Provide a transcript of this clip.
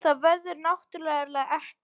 Það verður náttúrulega ekki